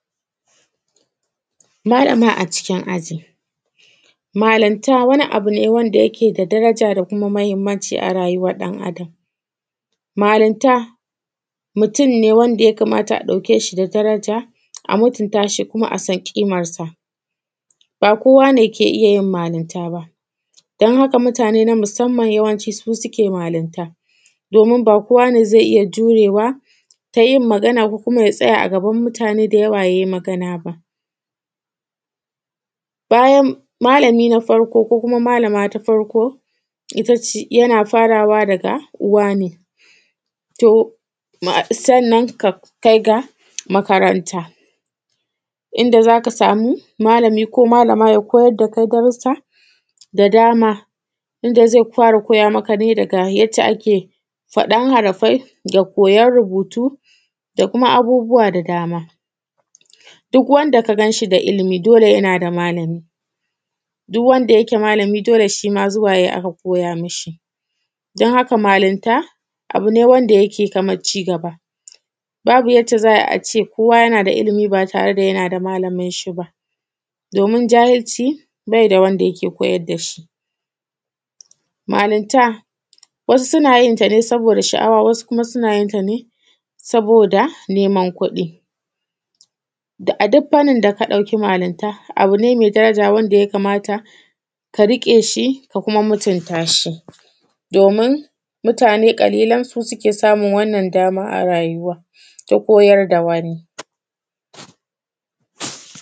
Malanta wani abu ne wanda yake da daraja da kuma mahimmanci a rayuwar ɗan Adam Malinta, mutum ne wanda ya kamata a ɗauke shi da daraja a mutunta shi kuma a san ƙimar sa, ba kowa ne ke iya yin malinta ba, dan haka mutane na musamman yawanci su suke malinta, domin ba kowa ne zai iya jurewa ta yin magana ko kuma ya tsaya a gaban mutane da yawa ya yi magana ba Bayan; malami na farko ko kuma malama ta farko ita ce; yana farawa daga uwa ne sannan ka kai ga makaranta inda za ka samu malami ko malama ya koyar da kai darussa da dama inda zai fara koya maka ne daga yadda ake faɗan harafai da koyon rubutu da kuma abubuwa da dama, duk wanda ka gan shi da ilimi dole yana da malami. Duk wanda yake malami dole shi ma zuwa yai aka koya mishi, don haka malinta abu ne wanda yake kamar cigaba, babu yadda za a ce kowa yana da ilimi ba tare da yana da malamin shi ba domin jahilci bai da wanda yake koyar da shi. Malinta wasu suna yin ta ne saboda sha’awa, wasu kuma suna yin ta ne saboda neman kuɗi da; a duk fannin da ka ɗauki malinta abu ne mai daraja wanda ya kamata ka riƙe shi ka kuma mutunta shi domin mutane ƙalilan su suke samun wannan dama a rayuwa ta koyar da wani.